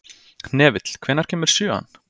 Hnefill, hvenær kemur sjöan?